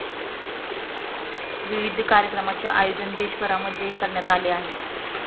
विविध कार्यक्रमांचे आयोजन देशभरामध्येही करण्यात आले आहे.